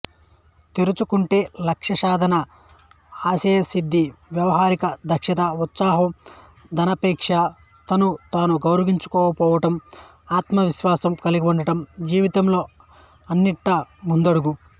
తెరుచుకుంటే లక్ష్యసాధన ఆశయసిద్ధి వ్యవహార దక్షత ఉత్సాహం ధనాపేక్ష తన్ను తాను గౌరవించుకోవడం ఆత్మవిశ్వాసం కల్గివుండడం జీవితంలో అన్నింటా ముందడుగు